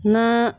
Na